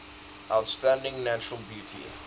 outstanding natural beauty